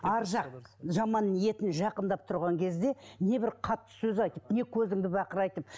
ары жақ жаман ниеті жақындап тұрған кезде небір қатты сөз айтып не көзіңді бақырайтып